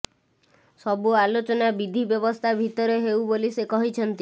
ସବୁ ଆଲୋଚନା ବିଧି ବ୍ୟବସ୍ଥା ଭିତରେ ହେଉ ବୋଲି ସେ କହିଛନ୍ତି